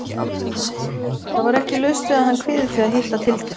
Það var ekki laust við að hann kviði því að hitta Tildu.